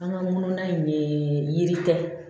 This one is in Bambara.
An ka ŋunu in ne yiri tɛ